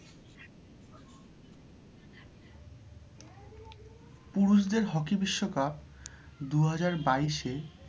পুরুষদের hockey বিশ্বকাপ দু হাজার বাইশে,